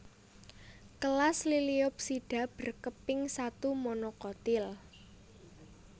Kelas Liliopsida berkeping satu monokotil